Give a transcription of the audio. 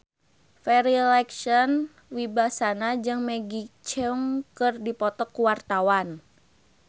Farri Icksan Wibisana jeung Maggie Cheung keur dipoto ku wartawan